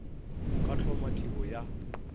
o ka hloma tiro ya